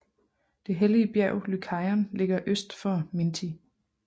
Det hellige bjerg Lykaion ligger øst for Minthi